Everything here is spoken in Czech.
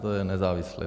To je nezávislé.